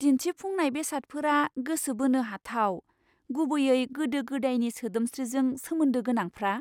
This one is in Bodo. दिन्थिफुंनाय बेसादफोरा गोसो बोनो हाथाव, गुबैयै गोदो गोदायनि सोदोमस्रिजों सोमोन्दो गोनांफ्रा!